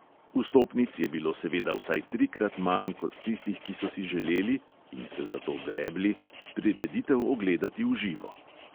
Vstopnic je bilo seveda vsaj trikrat manj kot tistih, ki so si želeli (in se za to grebli) prireditev ogledati v živo.